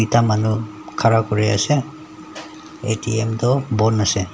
ekta manu ghara kuri ase A_T_M tu bon ase.